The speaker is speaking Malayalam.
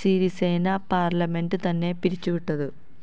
സിരിസേന പാർലമെന്റ് തന്നെ പിരിച്ചുവിട്ടത്